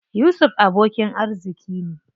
Yusuf abokin arziƙi ne.